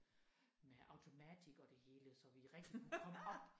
Med automatik og det hele så vi rigtig kunne komme op